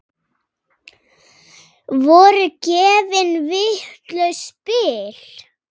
Voru gefin vitlaus spil?